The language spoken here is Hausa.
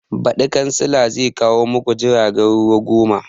Baɗi kansila zai kawo maku jiragen ruwa goma